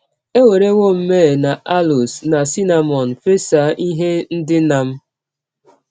Ewerewọ m myrrh na aloes na cinnamọn fesa ihe ndina m. ”